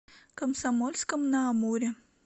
комсомольском на амуре